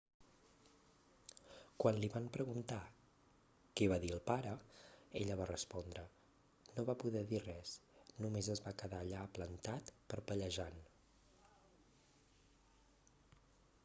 quan li van preguntar què va dir el pare ella va respondre no va poder dir res només es va quedar allà plantat parpellejant